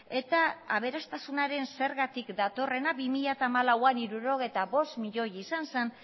eta aberastasunaren zergatik datorrena bi mila hamalauan hirurogeita bost miloi izan zen